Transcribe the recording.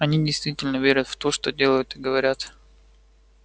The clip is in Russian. они действительно верят в то что делают и говорят